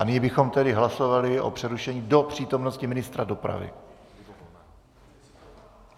A nyní bychom tedy hlasovali o přerušení do přítomnosti ministra dopravy.